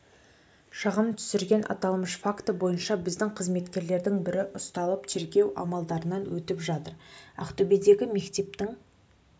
шағым түсірген аталмыш факті бойынша біздің қызметкерлердің бірі ұсталып тергеу амалдарынан өтіп жатыр ақтөбедегі мектептің